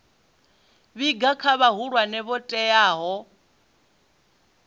vhiga kha vhahulwane vho teaho